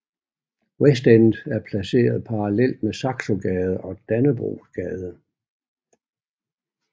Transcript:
Westend er placeret parallelt mellem Saxogade og Dannebrogsgade